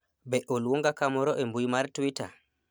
be oluonga kamoro e mbui mar twita